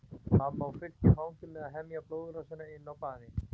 Mamma á fullt í fangi með að hemja blóðrásina inni á baði.